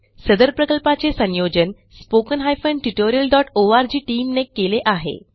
सदर प्रकल्पाचे संयोजन spoken tutorialओआरजी टीम ने केले आहे